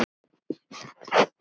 Ekki byrjar það vel!